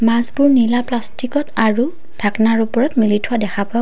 মাছবোৰ নীলা প্লাষ্টিকত আৰু ঢাকনাৰ ওপৰত মেলি থোৱা দেখা পোৱা--